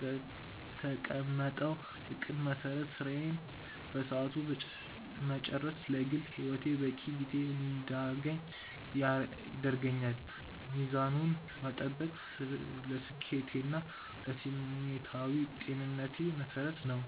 በተቀመጠው እቅድ መሰረት ስራን በሰዓቱ መጨረስ ለግል ህይወቴ በቂ ጊዜ እንድያገኝ ያደርገኛል። ሚዛኑን መጠበቅ ለስኬቴና ለስሜታዊ ጤንነቴ መሰረት ነው።